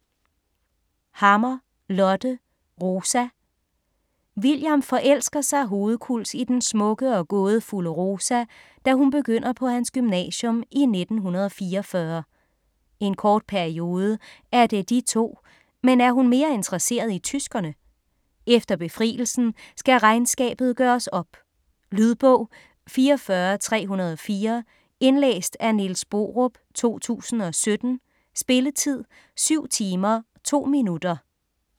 Hammer, Lotte: Rosa William forelsker sig hovedkuls i den smukke og gådefulde Rosa, da hun begynder på hans gymnasium i 1944. En kort periode er det de to, men er hun mere interesseret i tyskerne? Efter befrielsen skal regnskabet gøres op. Lydbog 44304 Indlæst af Niels Borup, 2017. Spilletid: 7 timer, 2 minutter.